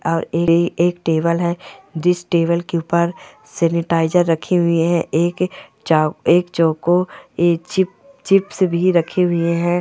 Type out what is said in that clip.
और एक टेबल है जिस टेबल के ऊपर सेनिटाइज़र रखी हुई है एक चौको एक चिप चिप्स भी रखी हुई है।